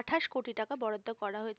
আটাশ কোটি বরাদ্দ করা হয়েছে।